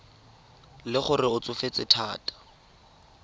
le gore o tsofetse thata